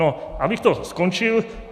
Ale abych to ukončil.